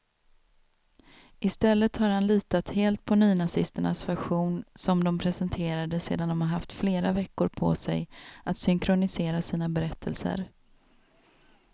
I stället har han litat helt på nynazisternas version, som de presenterade sedan de haft flera veckor på sig att synkronisera sina berättelser.